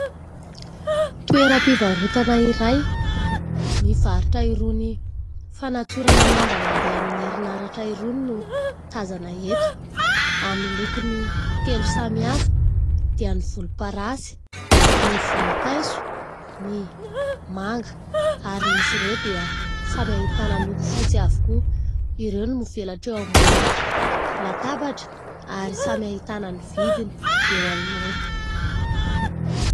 Toeram-pivarotana iray mivarotra irony fanatsorana lamba mandeha amin'ny erinaratra irony no tazana eto, amin'ny lokony telo samihafa dia ny volomparasy, ny vonimpaiso, ny manga. Ary izy ireo dia samy ahitana loko fotsy avokoa. Ireo no mivelatra eo ambony latabatra ary samy ahitana ny vidiny eo anoloany.